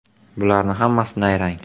Bularni hammasi nayrang.